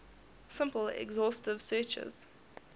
simple exhaustive searches